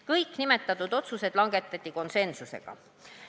Kõik nimetatud otsused langetati konsensuslikult.